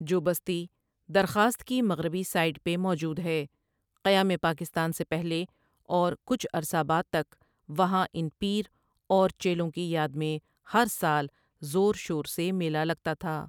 جو بستی درخواست کی مغربی ساٸیڈ پہ موجود ہے قیام پاکستان سے پہلے اور کچھ عرصہ بعد تک وہاں ان پیر اور چیلوں کی یاد میں ہر سال زور شور سے میلہ لگتا تھا۔